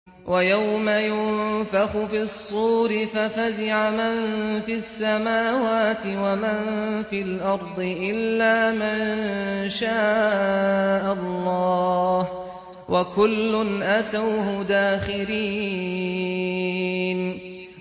وَيَوْمَ يُنفَخُ فِي الصُّورِ فَفَزِعَ مَن فِي السَّمَاوَاتِ وَمَن فِي الْأَرْضِ إِلَّا مَن شَاءَ اللَّهُ ۚ وَكُلٌّ أَتَوْهُ دَاخِرِينَ